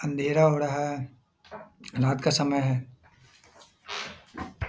अँधेरा हो रहा है रात का समय है।